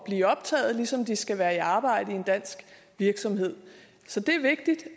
blive optaget ligesom de skal være i arbejde i en dansk virksomhed så det